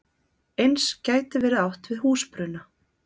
Eins gæti verið átt við húsbruna.